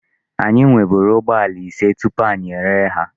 Anyị nweburu ụgbọala ise tupu anyị ere ha.